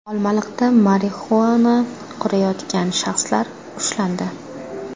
Olmaliqda marixuana qovurayotgan shaxslar ushlandi.